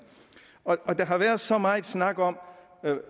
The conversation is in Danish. og der har været så meget snak om